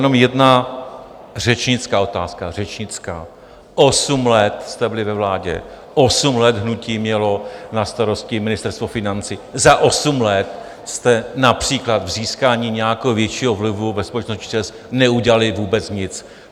Jenom jedna řečnická otázka, řečnická: osm let jste byli ve vládě, osm let hnutí mělo na starosti Ministerstvo financí, za osm let jste například k získání nějakého většího vlivu ve společnosti ČEZ neudělali vůbec nic.